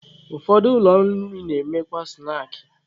Ụfọdụ ụlọ nri na-emekwa snaakị.